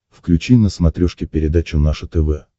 включи на смотрешке передачу наше тв